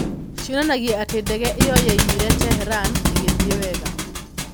Cionanagia atĩ ndege ĩyo yaimire Tehran ĩgĩthiĩ wega.